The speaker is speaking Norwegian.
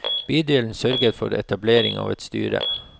Bydelen sørger for etablering av et styre.